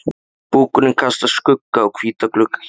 Búkurinn kastar skugga á hvíta gluggakistuna.